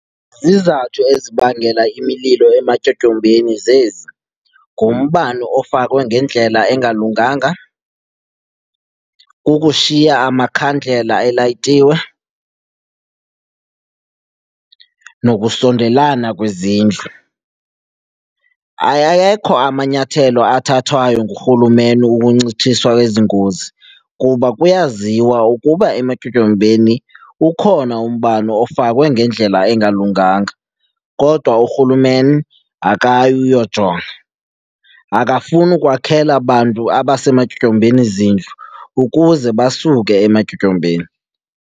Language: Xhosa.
Izizathu ezibangela imililo ematyotyombeni zezi. Ngumbane ofakwe ngendlela engalunganga, kukushiya amakhandlela elayitiwe nokusondelana kwezindlu. Ayayekho amanyathelo athathwayo nguRhulumeni ukuncitshiswa kwezi ngozi kuba kuyaziwa ukuba ematyotyombeni ukhona umbane ofakwe ngendlela engalunganga kodwa uRhulumeni akayi uyojonga. Akafuni ukwakhela bantu abasematyotyombeni zindlu ukuze basuke ematyotyombeni.